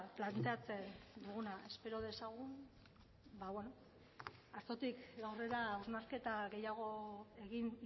planteatzen duguna espero dezagun ba beno gaurkotik aurrera hausnarketa gehiago egin